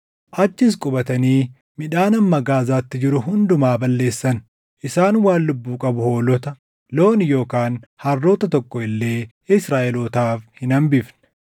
Achis qubatanii midhaan hamma Gaazaatti jiru hundumaa balleessan; isaan waan lubbuu qabu hoolota, loon yookaan harroota tokko illee Israaʼelootaaf hin hambifne.